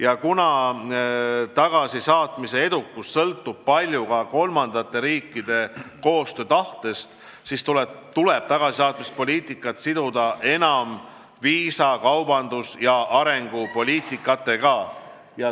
Ja kuna tagasisaatmise edukus sõltub palju ka kolmandate riikide koostöötahtest, siis tuleb tagasisaatmise poliitikat enam siduda viisa-, kaubandus- ja arengukoostöö poliitikaga.